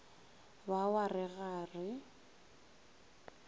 ba wa re ga re